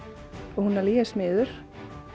og hún alveg ég er smiður